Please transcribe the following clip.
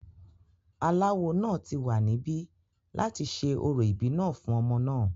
aláwo náà ti wà níbí láti ṣe orò ìbí náà fún ọmọ náà